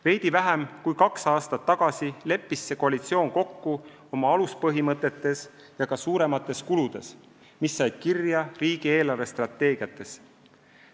Veidi vähem kui kaks aastat tagasi leppis koalitsioon kokku tegutsemise aluspõhimõtetes ja ka suuremates kuludes, mis sai kirja riigi eelarvestrateegias.